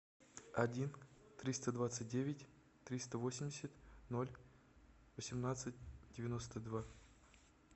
один триста двадцать девять триста восемьдесят ноль восемнадцать девяносто два